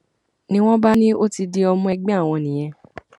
ni wọn bá ní ó ti di ọmọ ẹgbẹ àwọn nìyẹn